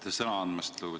Aitäh sõna andmast!